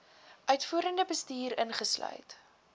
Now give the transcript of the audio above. uitvoerende bestuur insluit